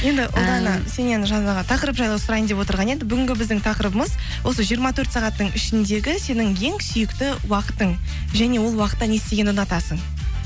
сеннен жаңағы тақырып жайлы сұрайын деп отырған едік бүгін біздің тақырыбымыз осы жиырма төрт сағаттың ішіндегі сенің ең сүйікті уақытың және ол уақытта не істегенді ұнатасың